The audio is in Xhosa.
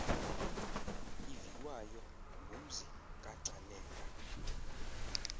iviwayo ngumzi kagcaleka